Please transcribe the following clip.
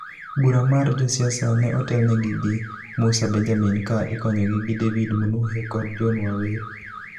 Bura mar josiasa ne otelnegi gi Musa Benjamin ka ikonygi gi David Munuhe kod John Waweru.